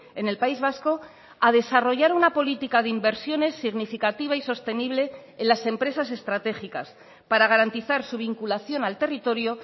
en el país vasco a desarrollar una política de inversiones significativa y sostenible en las empresas estratégicas para garantizar su vinculación al territorio